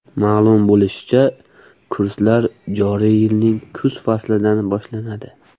Ma’lum bo‘lishicha, kurslar joriy yilning kuz faslidan boshlanadi.